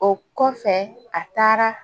O kɔfɛ a taara